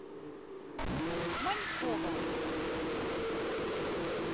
манькова